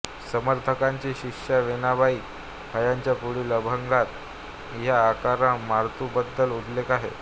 समर्थांच्या शिष्या वेणाबाई हयांच्या पुढील अंभगात ह्या अकरा मारुतींबद्दल उल्लेख आहे